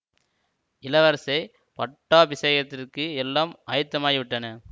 இளவரசே பட்டாபிஷேகத்திற்கு எல்லாம் ஆயத்தமாகி விட்டன